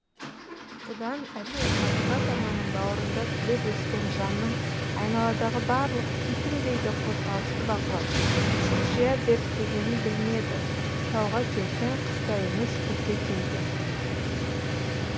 бұдан әрине табиғат ананың бауырында түлеп өскен жанның айналадағы барлық титімдей де қозғалысты бақылап шұқшия зерттегені білінеді тауға келсең қыста емес күзде келгін